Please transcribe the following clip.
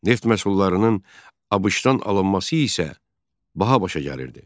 Neft məhsullarının ABŞ-dan alınması isə baha başa gəlirdi.